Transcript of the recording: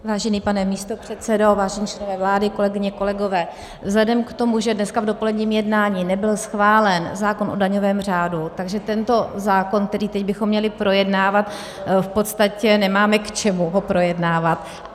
Vážený pane místopředsedo, vážení členové vlády, kolegyně, kolegové, vzhledem k tomu, že dneska v dopoledním jednání nebyl schválen zákon o daňovém řádu, takže tento zákon, který teď bychom měli projednávat, v podstatě nemáme, k čemu ho projednávat.